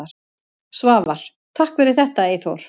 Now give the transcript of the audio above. Svavar: Takk fyrir þetta Eyþór.